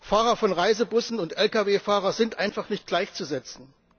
Fahrer von Reisebussen und Lkw Fahrer sind einfach nicht gleichzusetzen!